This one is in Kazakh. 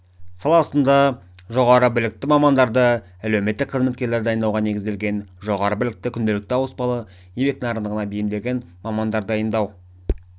саласында жоғары білікті мамандарды әлеуметтік қызметкерлерді дайындауға негізделген жоғары білікті күнделікті ауыспалы еңбек нарығына бейімделген мамандар дайындау